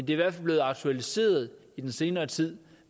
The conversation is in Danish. i hvert fald blevet aktualiseret i den senere tid